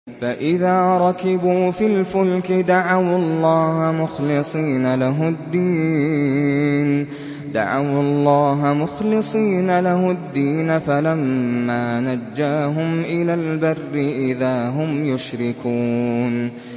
فَإِذَا رَكِبُوا فِي الْفُلْكِ دَعَوُا اللَّهَ مُخْلِصِينَ لَهُ الدِّينَ فَلَمَّا نَجَّاهُمْ إِلَى الْبَرِّ إِذَا هُمْ يُشْرِكُونَ